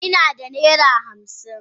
Ina da naira hamsin.